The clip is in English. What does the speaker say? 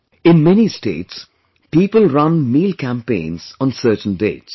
In many states, people run meal campaigns on certain dates